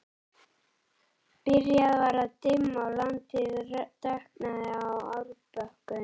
Byrjað var að dimma og landið dökknaði á árbökkunum.